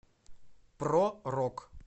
про рок